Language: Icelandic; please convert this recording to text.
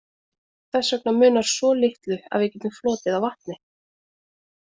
Þess vegna munar svo litlu að við getum flotið á vatni.